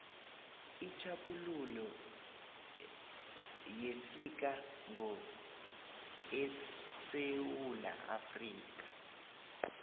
itjhaphuluko yafika ngo esewula afrikha